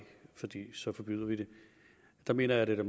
så forbyder vi det der mener jeg da at